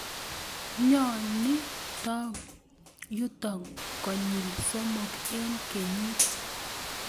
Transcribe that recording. nyonii tom yuto konyil somok eng kenyit